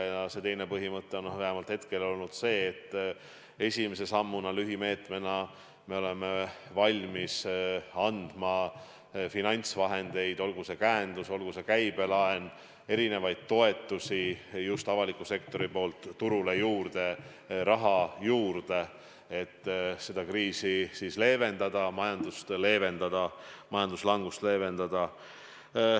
Ja see teine põhimõte on vähemalt seni olnud see, et esimese sammuna me oleme valmis andma avaliku sektori poolt finantsvahendeid – olgu see käendus, olgu see käibelaen, olgu need erinevad toetused – turule juurde, raha juurde, et kriisi leevendada, majandusraskusi leevendada, majanduslangust leevendada.